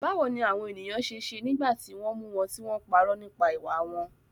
Báwo ni àwọn ènìyàn ṣe ṣe nígbà tí wọ́n mú wọn tí wọ́n parọ́ nípa ìwà wọn?